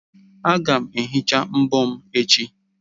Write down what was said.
Aga m ehicha mbọ m echi.